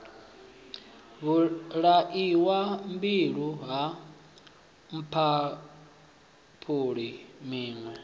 vhulaiwa mbilwi ha mphaphuli tshiṋwe